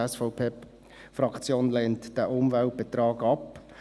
Die SVP-Fraktion lehnt diesen Umweltbetrag ab.